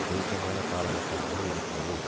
தீர்க்கமான காலகட்டமாக இருக்கிறது